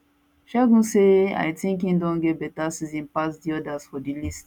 segun say i tink im don get beta season pass di odas for di list